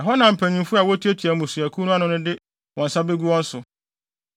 Ɛhɔ na mpanyimfo a wotuatua mmusuakuw no ano no de wɔn nsa begu wɔn so.